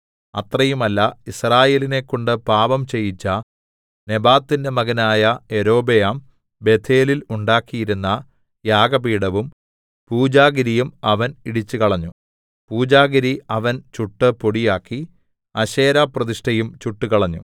അത്രയുമല്ല യിസ്രായേലിനെക്കൊണ്ട് പാപം ചെയ്യിച്ച നെബാത്തിന്റെ മകനായ യൊരോബെയാം ബേഥേലിൽ ഉണ്ടാക്കിയിരുന്ന യാഗപീഠവും പൂജാഗിരിയും അവൻ ഇടിച്ചുകളഞ്ഞു പൂജാഗിരി അവൻ ചുട്ടു പൊടിയാക്കി അശേരാപ്രതിഷ്ഠയും ചുട്ടുകളഞ്ഞു